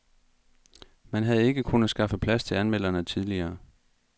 Man havde ikke kunnet skaffe plads til anmelderne tidligere.